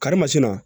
Karimasina